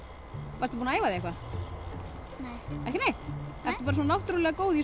varstu búin að æfa þig eitthvað nei ekki neitt ertu bara svona náttúrulega góð í